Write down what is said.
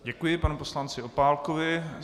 Děkuji panu poslanci Opálkovi.